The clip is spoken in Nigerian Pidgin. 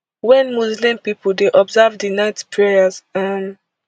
wen muslim pipo dey observe di night prayers um